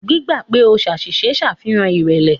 Gbígbà pè o ṣàṣìṣe ń ṣàfihàn ìrẹ̀lẹ̀.